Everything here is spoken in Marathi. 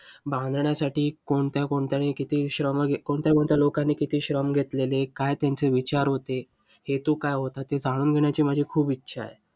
बांधण्यासाठी कोणत्या कोणत्या लोकांनी किती श्रम घेतलेले? काय त्यांचे विचार होते? हेतू काय होता? ते जाणून घेण्याची माझी खूप इच्छा आहे.